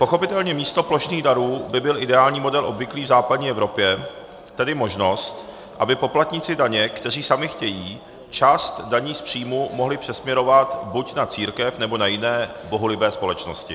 Pochopitelně, místo plošných darů by byl ideální model obvyklý v západní Evropě, tedy možnost, aby poplatníci daně, kteří sami chtějí, část daní z příjmů mohli přesměrovat buď na církev, nebo na jiné bohulibé společnosti.